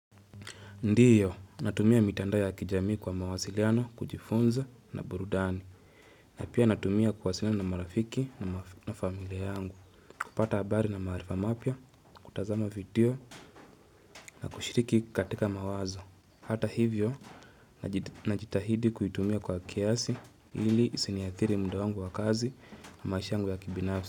Ndiyo, natumia mitandao ya kijamii kwa mawasiliano, kujifunza na burudani. Napia natumia kuwasiliana na marafiki na familia yangu. Kupata habari na maarifa mapya, kutazama video na kushiriki katika mawazo. Hata hivyo, najitahidi kuitumia kwa kiasi ili isi niakiri muda wangu wa kazi na maish yangu ya kibinafsi.